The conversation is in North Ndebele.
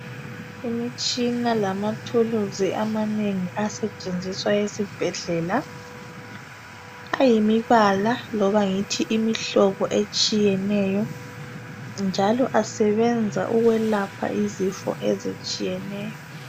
Imitshina lamathuluzi amanengi asetshenziswa esibhedlela. Ayimibala loba imihlobo etshiyeneyo, njalo asebenza ukulapha izifo ezitshiyeneyo.